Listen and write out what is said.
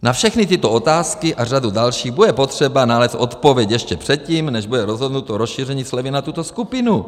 Na všechny tyto otázky a řadu dalších bude potřeba nalézt odpověď ještě předtím, než bude rozhodnuto rozšíření slevy na tuto skupinu.